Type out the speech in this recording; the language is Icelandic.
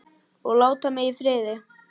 OG LÁTA MIG Í FRIÐI!